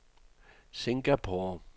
Singapore